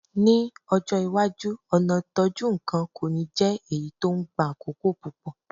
Ní ọjọ́ iwájú, ọ̀nà ìtọ́jú nǹkan kò ní jẹ́ èyí tó ń gba àkókò púpọ̀.